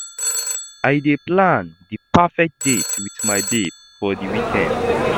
I dey plan di perfect date wit my babe for di weekend.